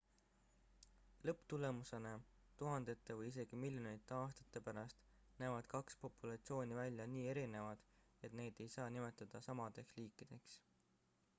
lõpptulemusena tuhandete või isegi miljonite aastate pärast näevad kaks populatsiooni välja nii erinevad et neid ei saa nimetada samadeks liikideks